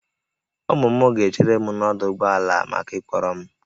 Ụmụ m ga-echere m n'ọdụ ụgbọ ala maka ịkpọrọ m